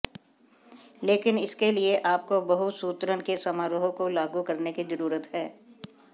लेकिन इसके लिए आपको बहु सूत्रण के समारोह को लागू करने की जरूरत है